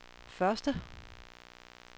første